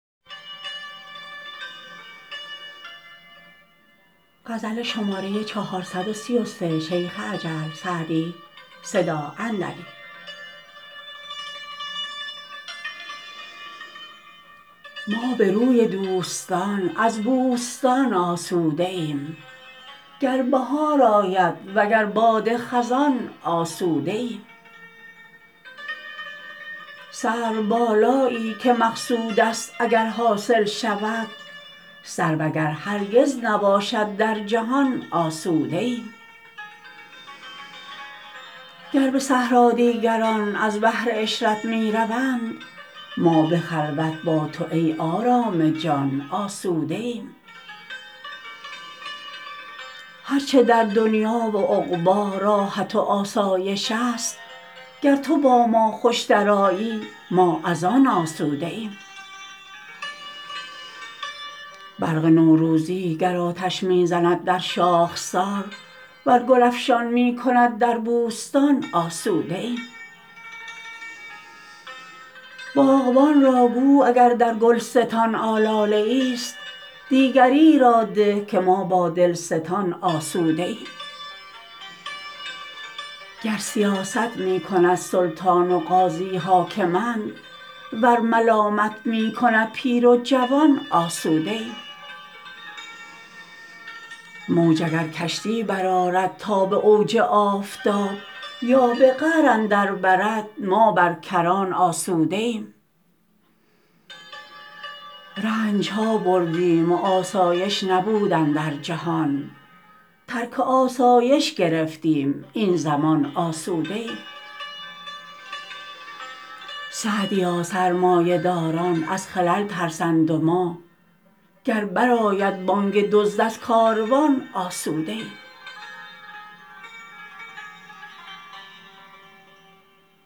ما به روی دوستان از بوستان آسوده ایم گر بهار آید وگر باد خزان آسوده ایم سروبالایی که مقصود است اگر حاصل شود سرو اگر هرگز نباشد در جهان آسوده ایم گر به صحرا دیگران از بهر عشرت می روند ما به خلوت با تو ای آرام جان آسوده ایم هر چه در دنیا و عقبی راحت و آسایش است گر تو با ما خوش درآیی ما از آن آسوده ایم برق نوروزی گر آتش می زند در شاخسار ور گل افشان می کند در بوستان آسوده ایم باغبان را گو اگر در گلستان آلاله ایست دیگری را ده که ما با دلستان آسوده ایم گر سیاست می کند سلطان و قاضی حاکمند ور ملامت می کند پیر و جوان آسوده ایم موج اگر کشتی برآرد تا به اوج آفتاب یا به قعر اندر برد ما بر کران آسوده ایم رنج ها بردیم و آسایش نبود اندر جهان ترک آسایش گرفتیم این زمان آسوده ایم سعدیا سرمایه داران از خلل ترسند و ما گر بر آید بانگ دزد از کاروان آسوده ایم